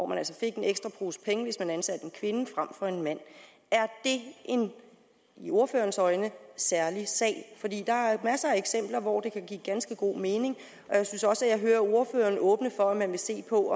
man altså fik en ekstra pose penge hvis man ansatte en kvinde frem for en mand er det en i ordførerens øjne særlig sag der er masser af eksempler hvor det kan give ganske god mening jeg synes også at jeg hører ordføreren åbne op for at man vil se på